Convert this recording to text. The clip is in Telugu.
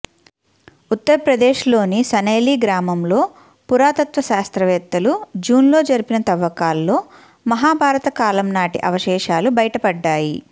ఉత్తరప్రదేశ్లోని సనైలీ గ్రామంలో పురాతత్వ శాస్త్రవేత్తలు జూన్లో జరిపిన తవ్వకాల్లో మహాభారత కాలం నాటి అవశేషాలు బయటపడ్డాయి